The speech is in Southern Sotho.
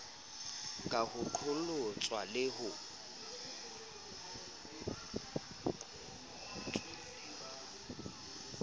ka ho qholotswa le ho